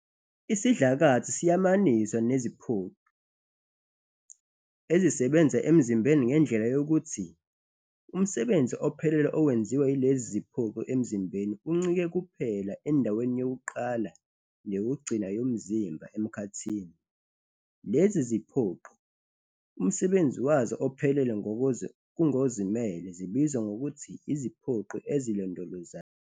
Isidlakathi siyamaniswa neziphoqi ezisebenza emzimbeni ngendlela yokuthi umsebenzi ophelele owenziwa yilezi ziphoqi emzimbeni uncike kuphela endaweni yokuqala neyokugcina yomzimba emkhathini. Lezi ziphoqi, umsebenzi wazo ophelele kungozimele, zibizwa ngokuthi iziphoqi "ezilondolozayo".